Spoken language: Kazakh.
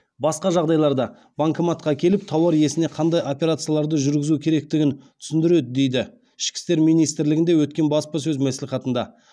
басқа жағдайларда банкоматқа келіп тауар иесіне қандай операцияларды жүргізу керектігін түсіндіреді дейді ол ішкі істер министрлігінде өткен баспасөз мәслихатында